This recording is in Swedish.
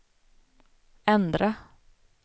ändra